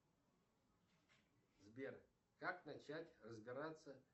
сбер как начать разбираться